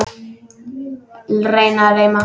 Læra að reima